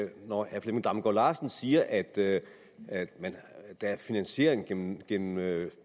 når herre flemming damgaard larsen siger at der er finansiering gennem gennem